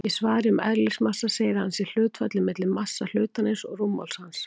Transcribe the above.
Í svari um eðlismassa segir að hann sé hlutfallið milli massa hlutarins og rúmmáls hans.